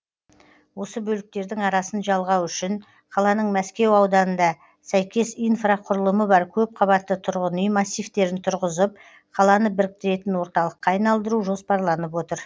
осы бөліктердің арасын жалғау үшін қаланың мәскеу ауданында сәйкес инфрақұрылымы бар көпқабатты тұрғын үй массивтерін тұрғызып қаланы біріктіретін орталыққа айналдыру жоспарланып отыр